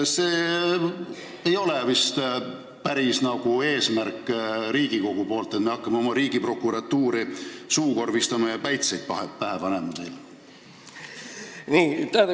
See ei ole vist päris Riigikogu eesmärk, et me hakkame oma Riigiprokuratuuri suukorvistama ja neile päitseid pähe panema.